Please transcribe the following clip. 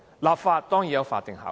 立法當然是有法定效力的。